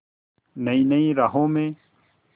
नई नई राहों में